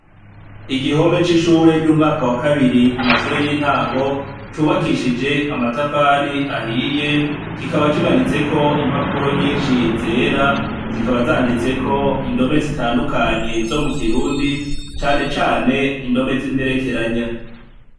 Igihome c'ishure ry'umwaka wa kabiri ku mashuri y'intango, cubakishije amatafari ahiye. Kikaba kimanitseko impapuro nyinshi zera, zikaba zanditseko indome zitandukanye zo mu Kirundi ,canecane indome z' imperekeranya.